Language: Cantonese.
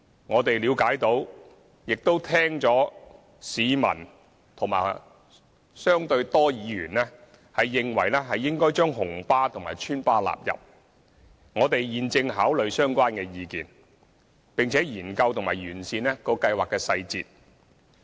我們了解到，亦聽到有市民及相對多的議員認為，應該將紅色小巴及邨巴納入計劃，我們現正考慮相關意見，並研究及完善計劃細節。